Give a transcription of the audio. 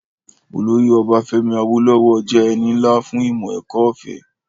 Olóyè Ọbafẹ́mi Awólówọ̀ jẹ́ ẹni nlá fún ìmọ̀-ẹ̀kọ́ ọ̀fẹ́